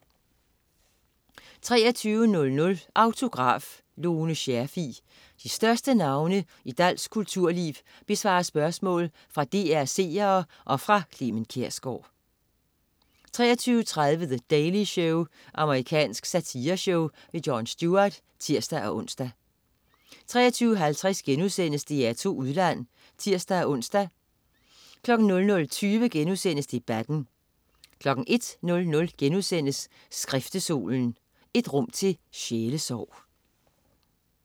23.00 Autograf: Lone Scherfig. De største navne i dansk kulturliv besvarer spørgsmål fra DR's seere og fra Clement Kjersgaard 23.30 The Daily Show. Amerikansk satireshow. Jon Stewart (tirs-ons) 23.50 DR2 Udland* (tirs-ons) 00.20 Debatten* 01.00 Skriftestolen. Et rum til sjælesorg*